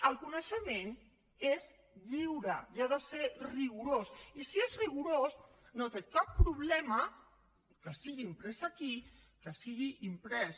el coneixement és lliure i ha de ser rigorós i si és rigorós no té cap problema que sigui imprès aquí que sigui imprès